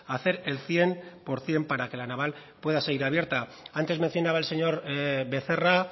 hacer el cien por ciento para que la naval pueda seguir abierta antes mencionaba el señor becerra